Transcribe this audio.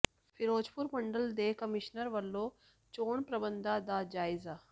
ਫਿਰੋਜ਼ਪੁਰ ਮੰਡਲ ਦੇ ਕਮਿਸ਼ਨਰ ਵੱਲੋਂ ਚੋਣ ਪ੍ਰਬੰਧਾਂ ਦਾ ਜਾਇਜ਼ਾ